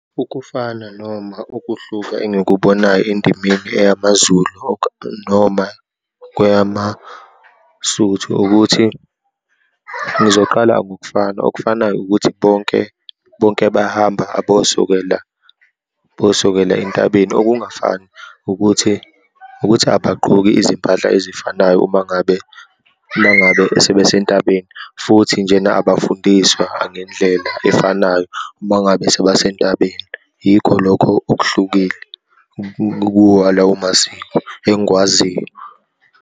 Ukufana noma ukuhluka engikubonayo endimeni eyamaZulu noma kweyamaSuthu ukuthi, ngizoqala ngokufana. Okufanayo ukuthi bonke, bonke bayahamba abosokela, bosokela entabeni. Okungafani ukuthi, ukuthi abagqoki izimpahla ezifanayo uma ngabe, uma ngabe sebesentabeni, futhi njena abafundiswa angendlela efanayo uma ngabe sebasentabeni. Yikho lokho okuhlukile kuwo lawo masiko, engikwaziyo.